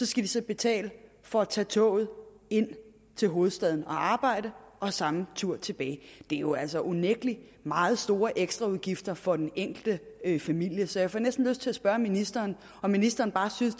skal de så betale for at tage toget ind til hovedstaden og arbejde og samme tur tilbage det er jo altså unægtelig meget store ekstraudgifter for den enkelte familie så jeg får næsten lyst til at spørge ministeren om ministeren bare synes